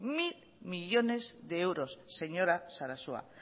mil millónes de euros señora sarasua